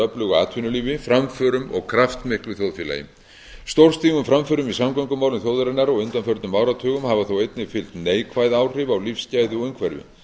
öflugu atvinnulífi framförum og kraftmiklu þjóðfélagi stórstígum framförum í samgöngumálum þjóðarinnar á undanförnum áratugum hafa þó einnig fylgt neikvæð áhrif á lífsgæði og umhverfi